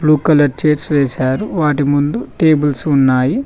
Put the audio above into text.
Colour chairs వేశారు వాటి ముందు టేబుల్స్ ఉన్నాయి.